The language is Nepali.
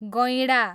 गैँडा